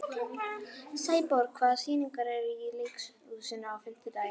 Sæborg, hvaða sýningar eru í leikhúsinu á fimmtudaginn?